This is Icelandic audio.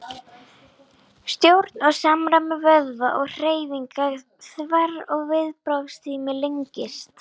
Stjórn og samræmi vöðva og hreyfinga þverr og viðbragðstími lengist.